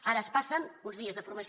ara es passen uns dies de formació